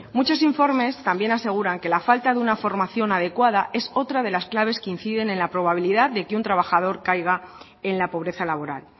muchos informes también aseguran que la falta de una formación adecuada es otra de las claves que inciden en la probabilidad de que un trabajador caiga en la pobreza laboral